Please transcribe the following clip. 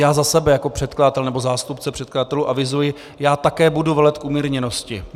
Já za sebe jako předkladatel, nebo zástupce předkladatelů, avizuji, že také budu velet k umírněnosti.